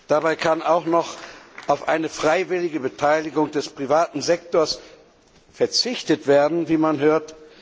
Dabei kann auch noch auf eine freiwillige Beteiligung des privaten Sektors verzichtet werden, wie man hört.